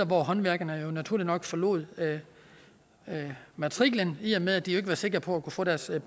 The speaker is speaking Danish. hvor håndværkerne naturligt nok forlod matriklen i at med de jo ikke var sikre på at kunne få deres